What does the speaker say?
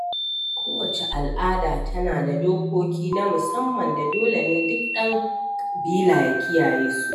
kowacce al’ada tana da dokoki na musamman da dole ne duk ɗan ƙabila ya kiyaye su.